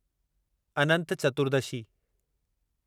Anant Chaturdashi